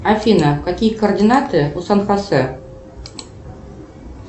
афина какие координаты у сан хосе